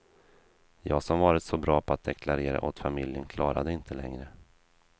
Jag som varit så bra på att deklarera åt familjen klarade det inte längre.